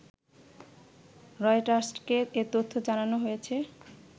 রয়টার্সকে এ তথ্য জানানো হয়েছে